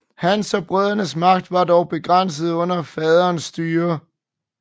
Hans og brødrenes magt var dog begrænset under faderens styre